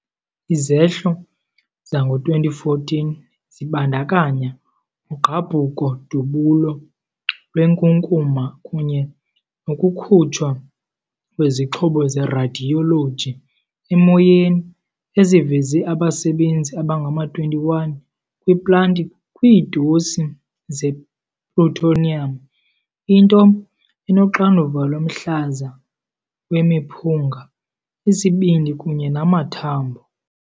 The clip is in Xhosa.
Izehlo zango-2014 zibandakanya ugqabhuko-dubulo lwenkunkuma kunye nokukhutshwa kwezixhobo zeradiyoloji emoyeni eziveze abasebenzi abangama-21 kwiplanti kwiidosi zeplutonium, into enoxanduva lomhlaza wemiphunga, isibindi kunye namathambo.